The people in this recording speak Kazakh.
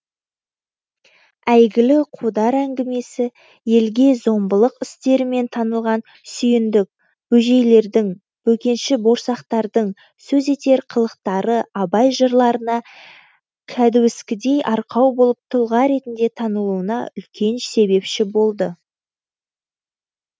әйгілі қодар әңгімесі елге зомбылық істерімен танылған сүйіндік бөжейлердің бөкенші борсақтардың сөз етер қылықтары абай жырларына кәдуіскідей арқау болып тұлға ретінде танылуына үлкен себепші болды